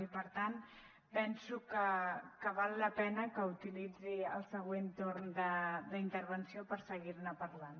i per tant penso que val la pena que utilitzi el següent torn de la intervenció per seguir ne parlant